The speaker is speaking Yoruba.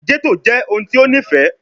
Ghetto jẹ ohun ti o nifẹ